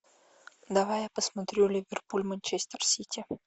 давай я посмотрю ливерпуль манчестер сити